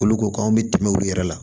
Olu ko k'an bɛ tɛmɛ olu yɛrɛ la